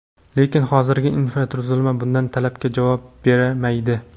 Lekin hozirgi infratuzilma bunday talabga to‘la javob bermaydi.